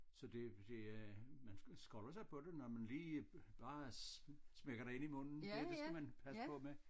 Så det det er man skolder sig på det når man lige bare smækker det ind i munden det det skal man passe på med